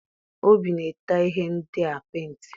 Obi na-ete ihe ndịa penti.